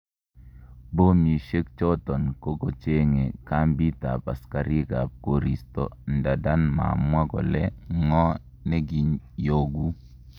Pomisiek choton kokochenge kampiit ab asikarik ab koristo ndanda mamwa kole ngo nekiiyoku